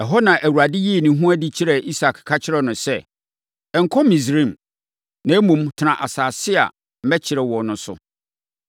Ɛhɔ na Awurade yii ne ho adi kyerɛɛ Isak, ka kyerɛɛ no sɛ, “Nkɔ Misraim, na mmom, tena asase a mɛkyerɛ wo no so.